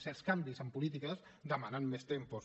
certs canvis en polítiques demanen més tempos